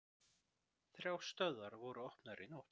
Þrjár stöðvar voru opnaðar í nótt